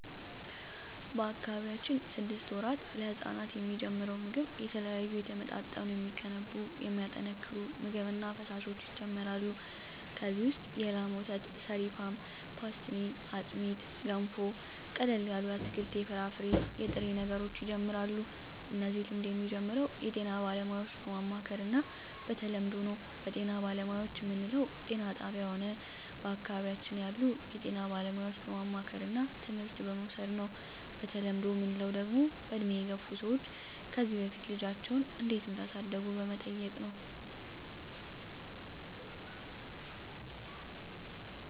በአካባቢያችን ስድስት ወራት ለህጻናት የሚጀምረው ምግብ የተለያዩ የተመጣጠኑ የሚገነቡ የሚያጠናክሩ ምግብ እና ፈሣሾች ይጀመራሉ ከዚ ውሰጥ የላም ወተት ሰሪፋን ፓሥትኒ አጥሜት ገንፎ ቀለል ያሉ የአትክልት የፍራፍሬ የጥሬ ነገሮች ይጀምራሉ እነዚህ ልምድ የሚጀምረው ጤና ባለሙያዎች በማማከር እና በተለምዶው ነው በጤና ባለሙያዎች ምንለው ጤና ጣብያ ሆነ በአካባቢያችን ያሉ የጤና ባለሙያዎች በማማከርና ትምህርት በመዉሰድ ነው በተለምዶ ምንለው ደግሞ በእድሜ የገፍ ሰዎች ከዚ በፊት ልጃቸው እንዴት እዳሳደጉ በመጠየቅ ነው